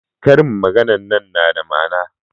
ƙarin maganar nan na da ma'ana